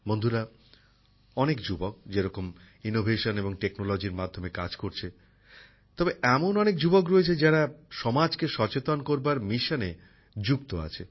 বন্ধুরা অনেক যুবকযুবতী যেরকম উদ্ভাবন এবং প্রযুক্তির মাধ্যমে কাজ করছেন আবার এমন অনেক যুবকযুবতী রয়েছেন যারা সমাজকে সচেতন করার মিশনে নিয়োজিত